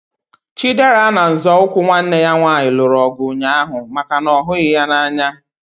Chidera na nzọụkwụ nwanne ya nwaanyị lụrụ ọgụ ụnyaahụ maka na ọ ghughi ya n'anya